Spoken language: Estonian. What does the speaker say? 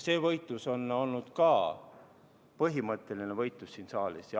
See võitlus on olnud ka põhimõtteline võitlus siin saalis.